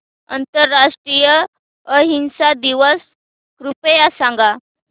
आंतरराष्ट्रीय अहिंसा दिवस कृपया सांगा